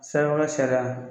sariya